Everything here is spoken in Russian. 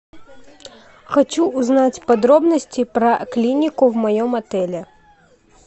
хочу узнать подробности про клинику в моем отеле